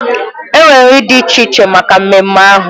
Enwere nri dị iche iche maka ememme ahụ.